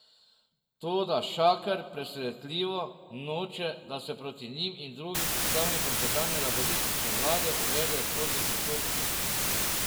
Toda Šaker, presentljivo, noče, da se proti njima in drugim predstavnikom tedanje laburistične vlade uvedejo sodni postopki.